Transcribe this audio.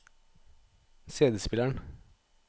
cd-spilleren